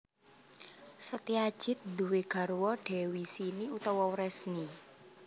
Setyajid nduwé garwa Dewi Sini utawa Wresni